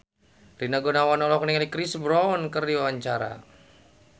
Rina Gunawan olohok ningali Chris Brown keur diwawancara